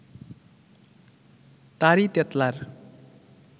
তারই তেতলার